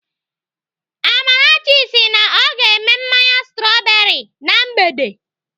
Amarachi sị na ọ ga-eme mmanya strọberị na mgbede.